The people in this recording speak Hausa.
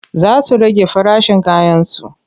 Za su rage farashin kayansu.